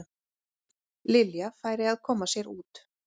Lilja færi að koma sér út.